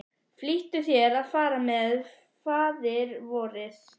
Flýttu þér að fara með Faðirvorið.